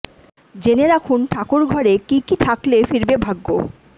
জেনে রাখুন ঠাকুর ঘরে কী কী থাকলে ফিরবে ভাগ্য